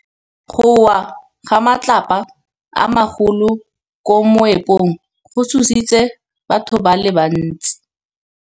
Go wa ga matlapa a magolo ko moepong go tshositse batho ba le bantsi.